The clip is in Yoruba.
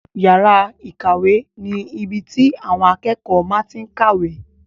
Yàrá ìkàwé ni ibi tí àwọn akẹ́kọ̀ọ́ máa tí n kàwé